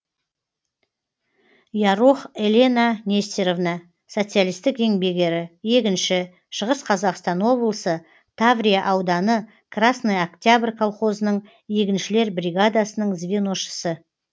ярох елена нестеровна социалистік еңбек ері егінші шығыс қазақстан облысы таврия ауданы красный октябрь колхозының егіншілер бригадасының звеношысы